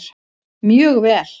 Mjög vel!